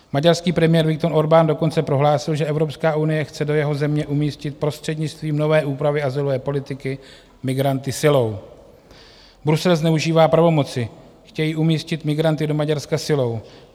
Maďarský premiér Viktor Orbán dokonce prohlásil, že Evropská unie chce do jeho země umístit prostřednictvím nové úpravy azylové politiky migranty silou: Brusel zneužívá pravomoci, chtějí umístit migranty do Maďarska silou.